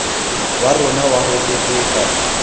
wa rona wa ho keteka